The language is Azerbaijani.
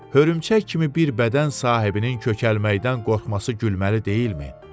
Hörümçək kimi bir bədən sahibinin kökəlməkdən qorxması gülməli deyilmi?